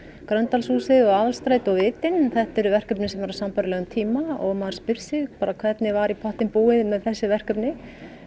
Gröndalshúsið og Aðalstræti og vitinn þetta eru verkefni sem eru á sambærilegum tíma og maður spyr sig bara hvernig var í pottinn búið með þessi verkefni